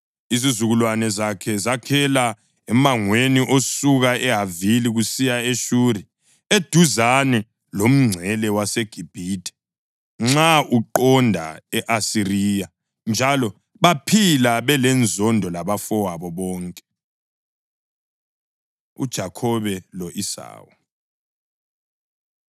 Izizukulwane zakhe zakhela emangweni osuka eHavila kusiya eShuri, eduzane lomngcele waseGibhithe, nxa uqonda e-Asiriya. Njalo baphila belenzondo labafowabo bonke. UJakhobe Lo-Esawu